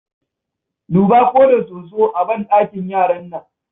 Duba ko da soso a banɗakin yaran nan.